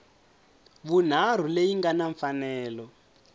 vunharhu leyi nga na mfanelo